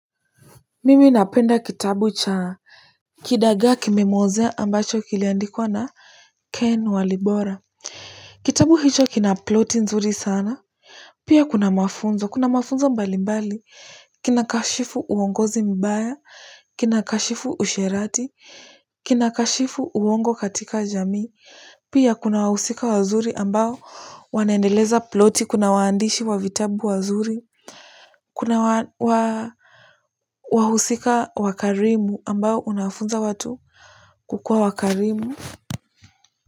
Mimi napenda kitabu cha Kidagaa kimemwozea ambacho kiliandikwa na Ken walibora kitabu hicho kina ploti nzuri sana pia kuna mafunzo kuna mafunzo mbali mbali kinakashifu uongozi mbaya kinakashifu usherati kinakashifu uongo katika jamii pia kuna wahusika wazuri ambao wanaendeleza ploti kuna waandishi wa vitabu wazuri kuna wa wahusika wakarimu ambao unafunza watu kukuwa wakarimu.